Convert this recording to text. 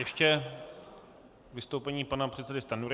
Ještě vystoupení pana předsedy Stanjury.